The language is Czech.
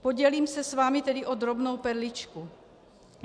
Podělím se s vámi tedy o drobnou perličku.